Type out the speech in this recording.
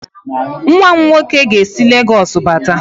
Nwa m nwoke ga-esi Lagos bata